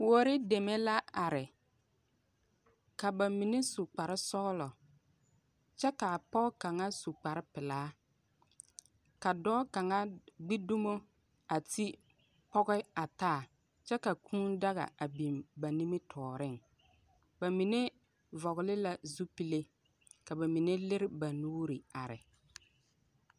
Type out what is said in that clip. Kuori deme la are. Kaba mine su kparre sɔglɔ, kyɛ ka pɔge kaŋa su kparre pelaa, ka dɔɔ kaŋa gbi dumo a ti pɔge kaŋa a taa, kyɛ ka daga a biŋ ba nimmitɔɔreŋ. Bamine vɔɔle la zupile ka ba mine lere ba nuuri a are.